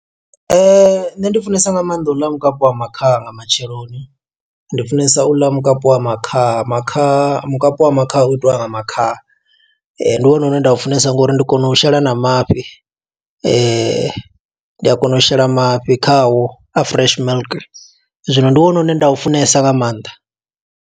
Nṋe ndi funesa nga maanḓa u ḽa mukapi wa makhaha nga matsheloni, ndi funesa u ḽa mukapu wa makhaha, makhaha. Mukapi wa makhaha u itiwa nga makhaha. Ndi wone une nda u funesa nga uri ndi kona u shela na mafhi . Ndi a kona u shela mafhi khawo a fresh milk. Zwino ndi wone une nda u funesa nga maanḓa